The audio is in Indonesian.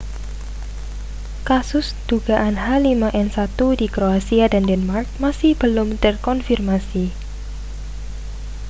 kasus dugaan h5n1 di kroasia dan denmark masih belum terkonfirmasi